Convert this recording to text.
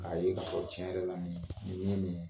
K'a ye k'a fɔ tiɲɛ yɛrɛ la nin ye nin ye